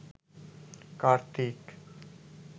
Kartik